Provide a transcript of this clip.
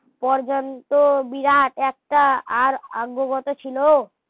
পর্যন্ত বিরাট একটা আর আগবত ছিলো